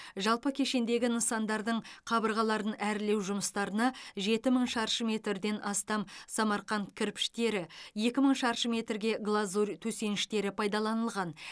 жалпы кешендегі нысандардың қабырғаларын әрлеу жұмыстарына жеті мың шаршы метрден астам самарқанд кірпіштері екі мың шаршы метрге глазурь төсеніштері пайдаланылған